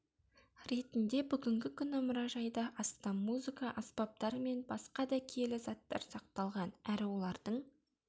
ретінде бүгінгі күні мұражайда астам музыка аспаптары мен басқа да киелі заттар сақталған әрі олардың